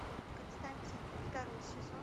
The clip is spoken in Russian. константин второй сезон